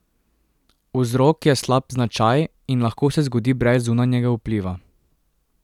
Vzrok je slab značaj in lahko se zgodi brez zunanjega vpliva.